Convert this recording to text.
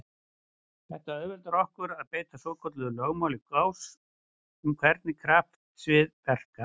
Þetta auðveldar okkur að beita svokölluðu lögmáli Gauss um hvernig kraftsvið verka.